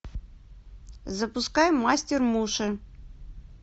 запускай мастер муши